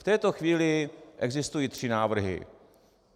V této chvíli existují tři návrhy.